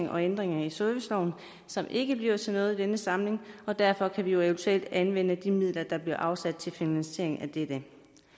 og ændringer i serviceloven som ikke bliver til noget i denne samling og derfor kan vi eventuelt anvende de midler der bliver afsat til finansiering af dette